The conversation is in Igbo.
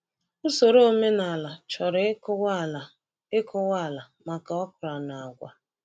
Usoro omenala chọrọ ịkụwa ala ịkụwa ala maka okra na agwa.